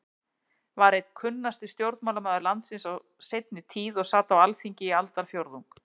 var einn kunnasti stjórnmálamaður landsins á sinni tíð og sat á Alþingi í aldarfjórðung.